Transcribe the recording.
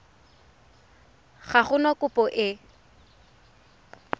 ga go na kopo e